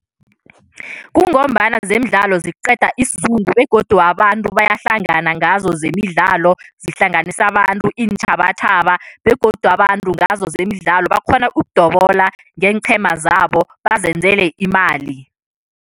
Kungombana zemidlalo ziqeda isizungu begodu abantu bayahlangana ngazo zemidlalo. Zihlanganisa abantu, iintjhabatjhaba begodu abantu ngazo zemidlalo, bakghona ukudobola ngeenqhema zabo bazenzele imali.